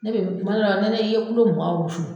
Ne bɛ , tuma dɔ la ne ne i ye kilo mugan wusu